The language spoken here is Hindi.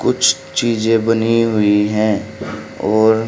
कुछ चीजें बनी हुई हैं और--